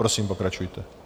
Prosím, pokračujte.